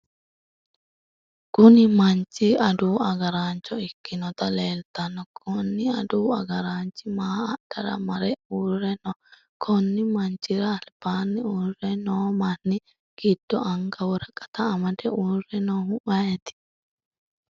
Kunni manchi adawu agaraancho ikinoti leeltano konni aduwu agaraanchi maa adhara mare uure no? Konni manchira albaanni uure noo manni gido anga woraqata amade uure noohu ayiti?